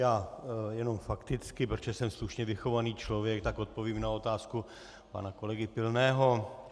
Já jenom fakticky, protože jsem slušně vychovaný člověk, tak odpovím na otázku pana kolegy Pilného.